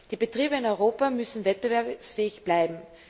Die Betriebe in Europa müssen wettbewerbsfähig bleiben.